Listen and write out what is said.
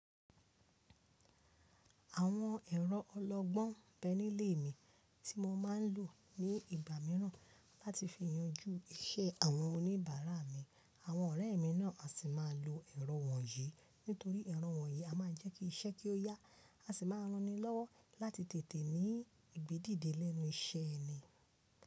Àwọn ẹ̀rọ ọlọ́gbọ́n bẹ́ nilè mi tí mo máa ń lò ní ìgbà mìíràn láti fi yanjú iṣẹ́ àwọn oníbàárà mi. Àwọn ọ̀rẹ́ mi náà á sì máa lo ẹ̀rọ wọ̀nyí nítorí ẹ̀rọ wọ̀nyí a máa jẹ́ kí iṣẹ́ kí ó yá, a sì máa ran ni lọ́wọ́ láti tètè ní ìgbé dìde lẹ́nu iṣẹ́ ẹni.